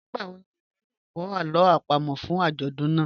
Nigbawo ni iwọ yoo kọ awọn alo apamo fun ajọdun naa?